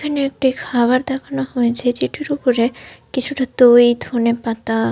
এখানে একটি খাবার দেখানো হয়েছে যেটির ওপরে কিছুটা দই ধনেপাতা।